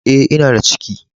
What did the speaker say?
Eh, n'na da ciki!!